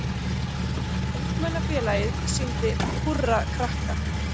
Ungmennafélagið sýndi Húrra krakka